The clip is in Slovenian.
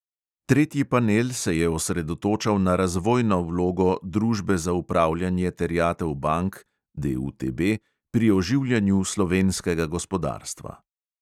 Tretji panel se je osredotočal na "razvojno" vlogo družbe za upravljanje terjatev bank pri oživljanju slovenskega gospodarstva.